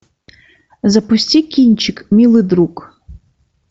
запусти кинчик милый друг